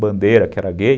bandeira que era gay.